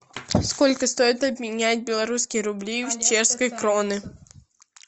сколько стоит обменять белорусские рубли в чешские кроны